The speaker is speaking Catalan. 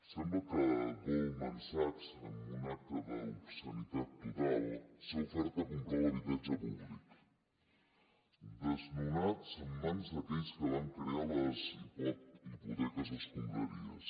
sembla que goldman sachs en un acte d’obscenitat total s’ha ofert a comprar habitatge públic desnonat en mans d’aquells que van crear les hipoteques escombraries